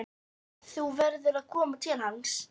En þú verður að koma til hans.